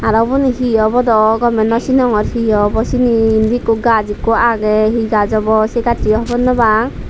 aro uboni hi obo daw gomey naw sinongor he obo syeni indi ekku gaj ekku agey he gaj obo se gassoyo hobor naw pang.